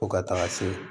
Fo ka taga se